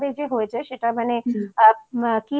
কিছু ঘুরিয়ে দেখিয়েছেন এতো ভালোভাবে যে হয়েছে সেটা